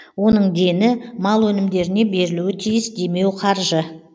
оның дені мал өнімдеріне берілуі тиіс демеуқаржы